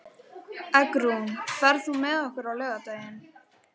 Eggrún, ferð þú með okkur á laugardaginn?